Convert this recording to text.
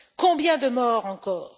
Combien de morts encore?